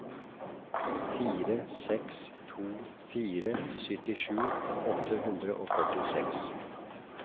fire seks to fire syttisju åtte hundre og førtiseks